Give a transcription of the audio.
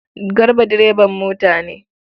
Garba direban mota ne.